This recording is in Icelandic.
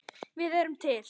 Við erum til!